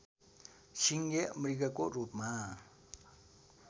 सिङे मृगको रूपमा